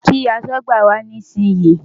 Kí aṣọ́gbà wá nísìnyí!